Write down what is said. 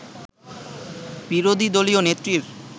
বিরোধী দলীয় নেত্রীর